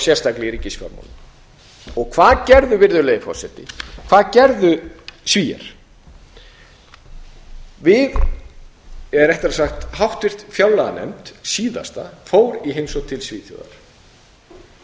sérstaklega í ríkisfjármálum hvað gerðu virðulegi forseti hvað gerðu svíar við eða réttara sagt háttvirta fjárlaganefnd síðasta fór í heimsókn til svíþjóðar og